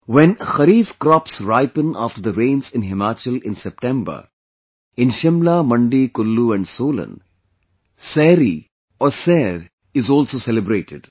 When Kharif crops ripen after the rains in Himachal in September, in Shimla, Mandi, Kullu and Solan, Sari or Sair is also celebrated